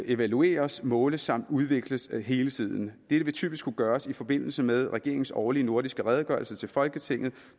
evalueres måles samt udvikles hele tiden dette vil typisk kunne gøres i forbindelse med regeringens årlige nordiske redegørelse til folketinget